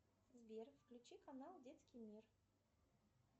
сбер включи канал детский мир